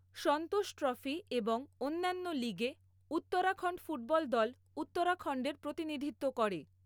সন্তোষ trophy এবং অন্যান্য লীগে উত্তরাখণ্ড ফুটবল দল উত্তরাখণ্ডের প্রতিনিধিত্ব করে।